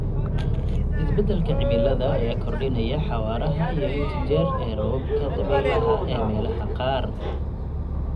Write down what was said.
Isbeddelka cimilada ayaa kordhinaya xawaaraha iyo inta jeer ee roobabka dabeylaha ee meelaha qaar.